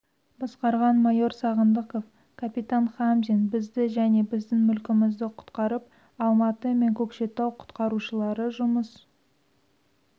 басқарған майор сағындықов капитан хамзин бізді және біздің мүлкімізді құтқарып алматы мен көкшетау құтқарушылары жұмыс